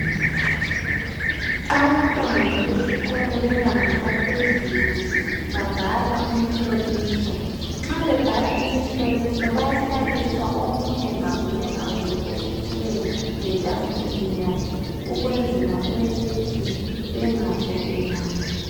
Abantwana besikolo bebanga laphezulu babhala umhloliso. Nxa bebhala imihloliso bayahlaliswa omunye, ngamunye ngamunye esitulweni letafuleni yakhe ukwenzela ukuthi bengakopelani.